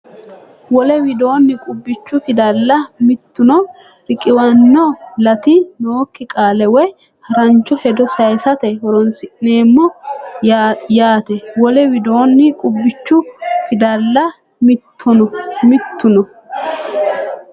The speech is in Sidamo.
Wole widoonni qubbichu fidalla mittuno riqiwanno laati nookki qaale woy harancho hedo sayisate horoonsi’neemmo yaate Wole widoonni qubbichu fidalla mittuno.